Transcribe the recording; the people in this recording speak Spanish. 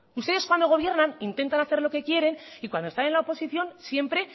ustedes cuando gobiernan intentan hacer lo que quieren y cuando están en la oposición siempre